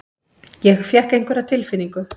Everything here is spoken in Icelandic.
Ég fékk einhverja tilfinningu.